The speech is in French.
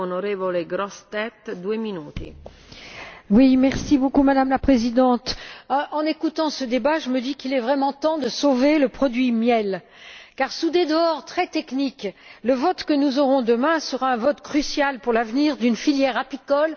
Madame la Présidente, en écoutant ce débat, je me dis qu'il est vraiment temps de sauver le produit miel car, sous des dehors très techniques, le vote qui interviendra demain sera un vote crucial pour l'avenir d'une filière apicole qui est déjà malheureusement fragilisée par le devenir de nos abeilles.